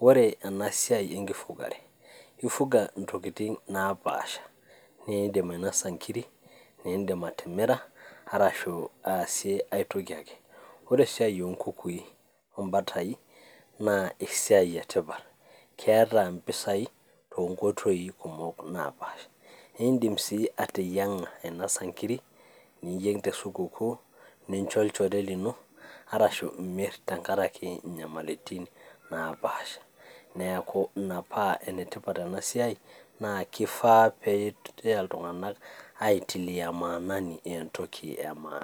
Ore ena siai enkifugare, ifuga intokitin napaasha, niindim ainosa inkiri, niindim atimira, ashu ai toki ake. Ore esiai oo nkukui oo mbatai, naa esiai e tipat, keeta impesai toonkoitoi kumok napaasha. Niindim sii ateyieng'a ainosa inkiri, niyeng' te sukukuu, nincho olchore lino, arashu nimir tengarake inyamaliritin napaasha, neaku Ina paa enetipat ena siai, naa kwishaa naa peyaa iltung'ana aitilia maanani entoki e maana.